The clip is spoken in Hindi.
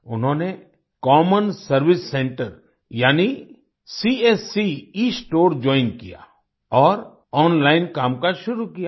उन्होंने कॉमन सर्वाइस सेंटर यानी सीएससी एस्टोर जोइन किया और ओनलाइन कामकाज शुरू किया